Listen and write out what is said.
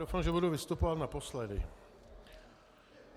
Doufám, že budu vystupovat naposledy.